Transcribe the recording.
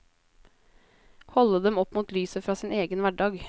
Holde dem opp mot lyset fra sin egen hverdag.